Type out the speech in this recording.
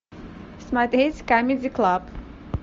смотреть камеди клаб